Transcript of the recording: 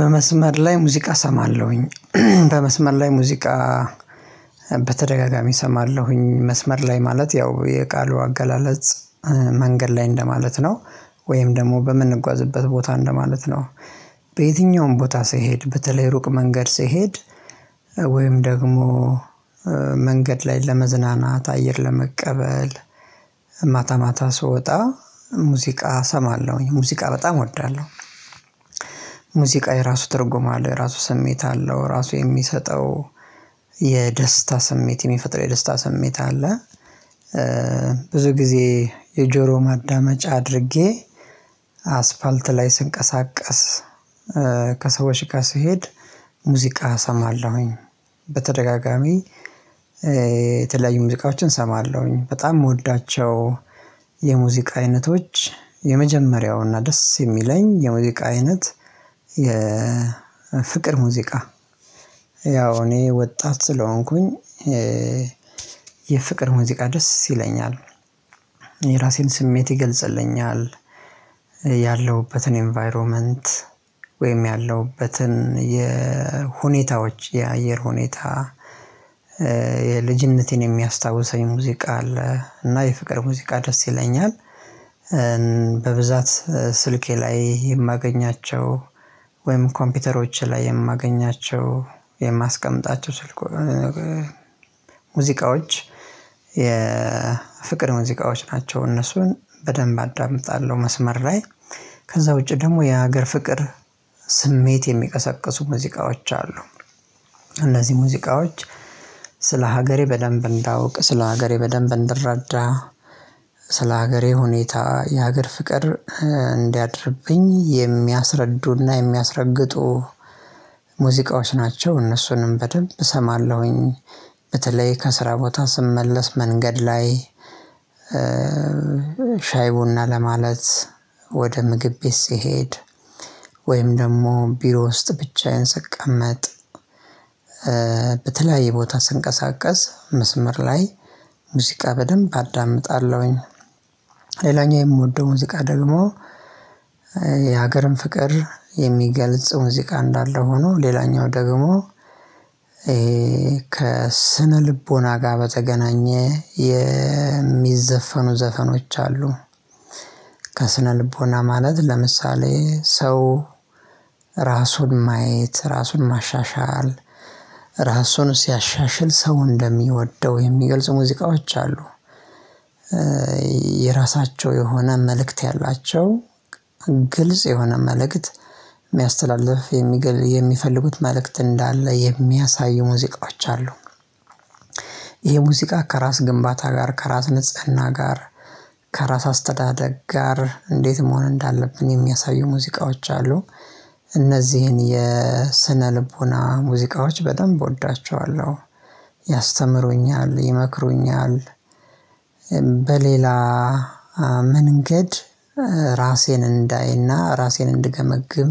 በመስመር ላይ ሙዚቃ እሰማለሁኝ በመስመር ላይ ሙዚቃ በተደጋጋሚ እሰማለሁኝ መስመር ላይ ማለት ያው የቃሉ አገላለጽ መንገድ ላይ እንደማለት ነው። ወይም ደግሞ በምንጓዝበት ቦታ እንደማለት ነው። በየትኛውም ቦታ ስሄድ በተለይ ሩቅ መንገድ ስሄድ ወይም ደግሞ መንገድ ላይ ለመዝናናት አየር ለመቀበል ማታ ማታ ስወጣ ሙዚቃ እሰማለሁኝ ሙዚቃ በጣም እወዳለሁ። ሙዚቃ የራሱ ተርጉም አለው የራሱ ስሜት አለው ራሱ የሚሰጠው የደስታ ስሜት የሚፈጥረው የደስታ ስሜት አለ። ብዙ ጊዜ የጆሮ ማዳመጫ አድርጌ አስፋልት ላይ ስንቀሳቀስ ከሰዎችጋ ስሄድ ሙዚቃ እሰማለሁኝ። በተደጋጋሚ የተለያዩ ሙዚቃዎችን እሰማለሁኝ በጣም የምወዳቸው የሙዚቃ አይነቶች የመጀመሪያውና ደስ የሚለኝ የሙዚቃ አይነት። ፍቅር ሙዚቃ ያው እኔ ወጣት ስለሆንኩኝ የፍቅር ሙዚቃ ደስ ይለኛል። የራሴን ስሜት ይገልጽልኛል ያለሁበትን ኢንቫይሮመንት ወይም ያለሁበትን የሁኔታዎች የአየር ሁኔታ። የልጅነቴን የሚያስታውሰኝ ሙዚቃ አለ እና የፍቅር ሙዚቃ ደስ ይለኛል። በብዛት ስልኬ ላይ የማገኛቸው ወይም ኮምፒውተሮች ላይ የማገኛቸው የማስቀምጣቸው ስልኩ ሙዚቃዎች የፍቅር ሙዚቃዎች ናቸው። እነሱን በደንብ አዳምጣለሁ መስመር ላይ ከዛ ውጪ ደግሞ የሀገር ፍቅር ስሜት የሚቀሰቅሱ ሙዚቃዎች አሉ። እነዚህ ሙዚቃዎች ስለ ሀገሬ በደንብ እንዳውቅ ስለ ሀገሬ በደንብ እንደረዳ ስለ ሀገሬ ሁኔታ የሀገር ፍቅር እንዲያድርብኝ የሚያስረዱና የሚያስረግጡ ሙዚቃዎች ናቸው እነሱንም በደንብ እሰማለሁኝ። በተለይ ከስራ ቦታ ስመለስ መንገድ ላይ ሻይ ቡና ለማለት ወደ ምግብ ቤት ስሄድ ወይም ደግሞ ቢሮ ውስጥ ብቻዬን ሰቀመጥ በተለያየ ቦታ ስንቀሳቀስ መስመር ላይ ሙዚቃ በደንብ አዳምጣለሁኝ። ሌላኛው የምወደው ሙዚቃ ደግሞ የሀገርን ፍቅር የሚገልጽ ሙዚቃ እንዳለ ሆኖ ሌላኛው ደግሞ ከስነ ልቦና ጋር በተገናኘ የሚዘፈኑ ዘፈኖች አሉ። ከስነልቦና ማለት ለምሳሌ ሰው ራሱን ማየት ራሱን ማሻሻል ራሱን ሲያሻሽል ሰው እንደሚወደው የሚገልጹ ሙዚቃዎች አሉ። የራሳቸው የሆነ መልእክት ያላቸው ግልጽ የሆነ መልእክት የሚያስተላልፍ የሚገል የሚፈልጉት መልእክት እንዳለ የሚያሳዩ ሙዚቃዎች አሉ። ይሄ ሙዚቃ ከራስ ግንባታ ጋር ከራስ ንጽህና ጋር ከራስ አስተዳደግ ጋር እንዴት መሆን እንዳለብን የሚያሳዩ ሙዚቃዎች አሉ። እነዚህን የስነ ልቦና ሙዚቃዎች በደንብ እወዳቸዋለሁ ያስተምሩኛል ይመክሩኛል። በሌላ መንገድ ራሴን እንዳይና ራሴን እንድገመግም